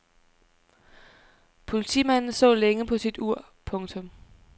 Politimanden så længe på sit ur. punktum